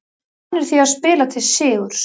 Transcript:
Við vorum vanir því að spila til sigurs.